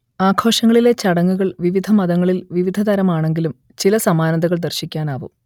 ആഘോഷങ്ങളിലെ ചടങ്ങുകൾ വിവിധമതങ്ങളിൽ വിവിധതരമാണെങ്കിലും ചില സമാനതകൾ ദർശിക്കാനാവും